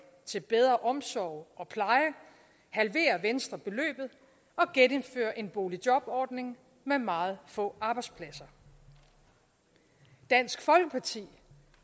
til bedre omsorg og pleje halverer venstre beløbet og genindfører en boligjobordning med meget få arbejdspladser dansk folkeparti